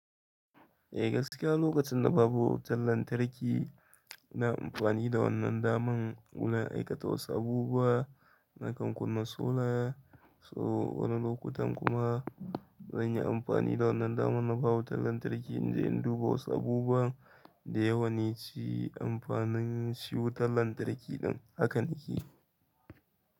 E gaskiya lokacin da babu wutan lantarki ina amfani da wannan daman wurin aikata wassu abubuwa na kan kunna solar. So wani lokutan kuma zan yi amfani da wannan daman na ba wutan lantarki in je in duba wasu abubuwa da yawanin ci amfanin shi wutan lantarki ɗin haka nakeyi.